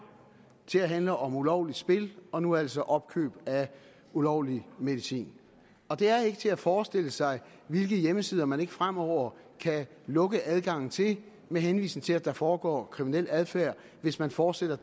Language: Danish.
til at handle om ulovlige spil og nu altså opkøb af ulovlig medicin det er ikke til at forestille sig hvilke hjemmesider man ikke fremover kan lukke adgangen til med henvisning til at der foregår kriminel adfærd hvis man fortsætter